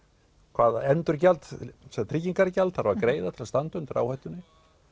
hvaða tryggingargjald þarf að greiða til að standa undir áhættunni